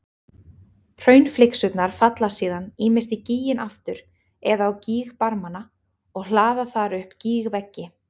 Hraunflygsurnar falla síðan ýmist í gíginn aftur eða á gígbarmana og hlaða þar upp gígveggi.